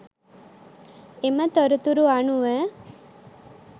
එම තොරතුරු අනුව